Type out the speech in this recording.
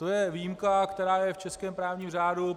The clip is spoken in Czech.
To je výjimka, která je v českém právním řádu.